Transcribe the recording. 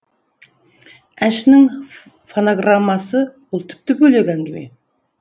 әншінің фонограммасы ол тіпті бөлек әңгіме